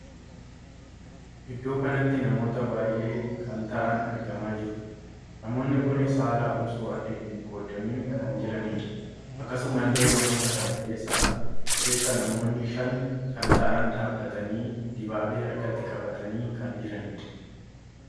Iddoo kanatti namoota baay'ee kan taa'an argamaa jiru. namoonni kun saalaan osoo addaan hin qoodamin kan jiranidha. akkasuma illee namoota kana keessaa namoonni Shan kan taa'an dhaabbatanii dibaabee harkatti qabatanii kan jiranidha.